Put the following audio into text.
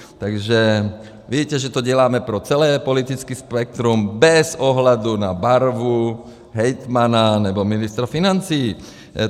Takže víte, že to děláme pro celé politické spektrum bez ohledu na barvu hejtmana nebo ministra financí.